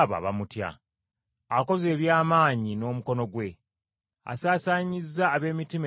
Akoze eby’amaanyi n’omukono gwe. Asaasaanyizza ab’emitima egy’amalala.